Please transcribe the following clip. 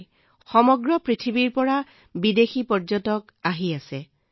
গোটেই পৃথিৱীৰ পৰা বিদেশী আহি আছে